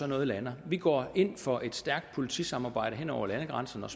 noget lander vi går ind for et stærkt politisamarbejde hen over landegrænser og